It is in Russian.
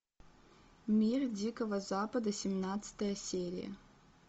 мир дикого запада семнадцатая серия